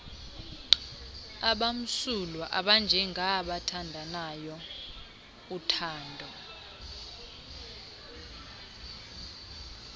abamsulwa abanjengaabathandanayo uthando